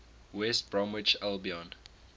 west bromwich albion